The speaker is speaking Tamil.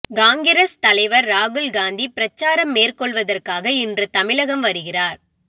காங்கிரஸ் தலைவர் ராகுல்காந்தி பிரச்சாரம் மேற்கொள்வதற்காக இன்று தமிழகம் வருகிறார்